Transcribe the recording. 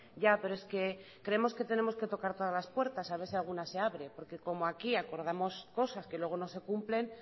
ya pero es que creemos que tenemos que tocar todas la puertas haber si alguna se abre porque como aquí acordamos cosas que luego no se cumplen